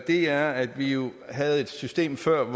er at vi jo havde et system før